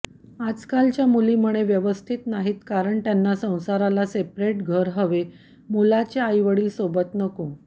आजकालच्या मुली म्हणे व्यवस्थित नाहित कारण त्याना संसाराला सेपरेट घर हवे मुलाचे आईवडील सोबत नको